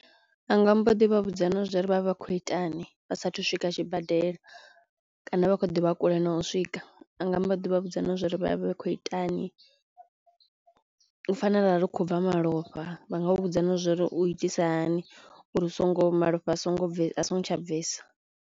Anga mbo ḓi vha vhudza na zwouri vhavha vha khou itani vha sathu swika tshibadela kana vha khou ḓivha kule no u swika anga mbo ḓi vha vhudza na zwa uri vha vhe khou itani u fana arali u khou bva malofha vha nga u vhudza na zwo uri u itisa hani uri u songo malofha a songo bvesa a so ngo tsha bvesa.